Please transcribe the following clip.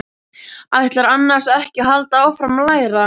Ætlarðu annars ekki að halda áfram að læra?